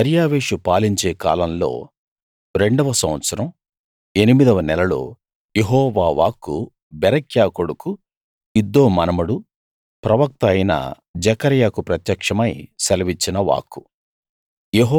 దర్యావేషు పాలించే కాలంలో రెండవ సంవత్సరం ఎనిమిదవ నెలలో యెహోవా వాక్కు బెరక్యా కొడుకు ఇద్దో మనుమడు ప్రవక్త అయిన జెకర్యాకు ప్రత్యక్షమై సెలవిచ్చిన వాక్కు